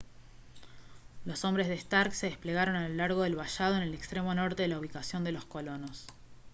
los hombres de stark se desplegaron a lo largo del vallado en el extremo norte de la ubicación de los colonos